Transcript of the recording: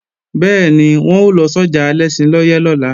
Bẹ́ẹ̀ni, wọn ó lọ sọ́jà Alẹ́ṣinlọ́yẹ́ lọ́la